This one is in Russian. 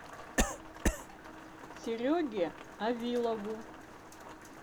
сереге авилову